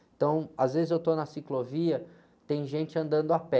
Então, às vezes eu estou na ciclovia, tem gente andando a pé.